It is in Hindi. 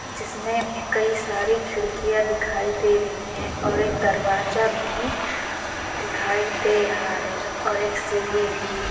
जिसमें कई सारी खिड़कियां दिखाई दे रही हैं और एक दरवाजा भी दिखाई दे रहा है और एक सीढ़ी भी--